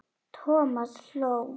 Thomas hló.